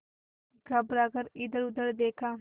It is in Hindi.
घबरा कर इधरउधर देखा